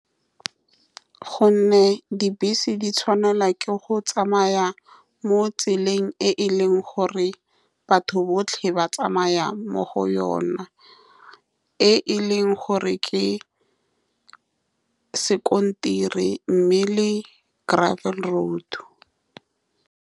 Ka gonne dibese di tshwanelwa ke go tsamaya mo tseleng e e leng gore batho botlhe ba tsamaya mo go yone, e e leng gore ke sekontere, mme le gravel road.